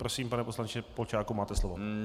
Prosím, pane poslanče Polčáku, máte slovo.